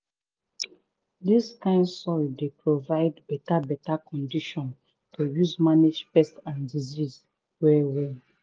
dis kind soil dey provide beta beta condition to use manage pest and disease well well.